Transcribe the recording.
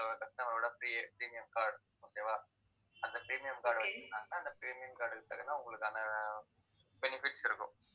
customer ஓட premium card okay வா அந்த premium card அ வச்சிருந்தாங்கன்னா அந்த premium card க்கு தகுந்த, உங்களுக்கான ஆஹ் benefits இருக்கும்